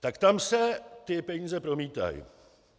Tak tam se ty peníze promítají.